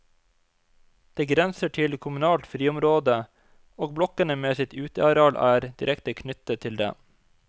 Det grenser til kommunalt friområde, og blokkene med sitt uteareal er direkte knyttet til det.